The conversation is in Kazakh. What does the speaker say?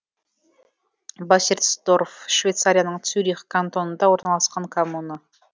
бассерсдорф швейцарияның цюрих кантонында орналасқан коммуна